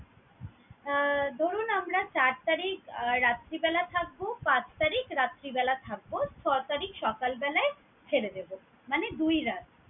আহ ধরুন আমরা চার তারিখ আহ রাত্রিবেলা থাকবো, পাঁচ তারিক রাত্রিবেলা থাকবো ছয় তারিখ সকাল বেলায় ছেড়ে দেবো। মানে দুই রাত।